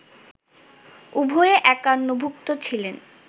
উভয়ে একান্নভুক্ত ছিলেন